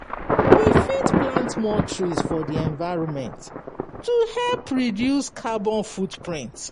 We fit plant more trees for di environment to help reduce carbon foot print